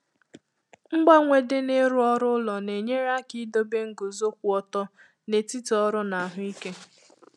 Mgbanwe dị na ịrụ òrụ́ n'ụlọ na-enyèrè aka idobe nguzo kwụ ọtọ n’etiti ọrụ na ahụ ike